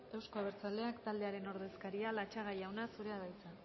euzko abertzaleak taldearen ordezkaria latxaga jauna zurea da hitza